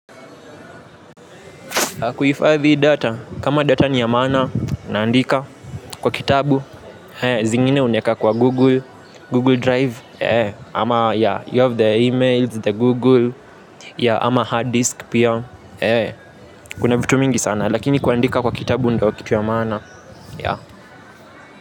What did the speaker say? Kuifadhi data, kama data ni ya maana, naandika kwa kitabu, zingine unaeka kwa Google, Google Drive, ama ya you have the emails, the Google, ya ama hard disk pia, kuna vitu mingi sana, lakini kuandika kwa kitabu ndo kitu ya maana, ya.